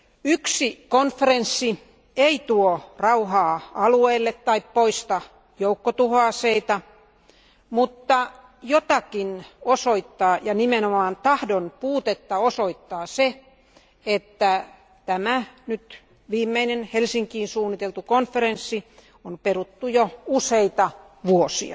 Yksi konferenssi ei tuo rauhaa alueelle tai poista joukkotuhoaseita, mutta jotakin osoittaa ja nimenomaan tahdon puutetta osoittaa se, että tämä viimeisin Helsinkiin suunniteltu konferenssi on peruttu jo useana vuonna.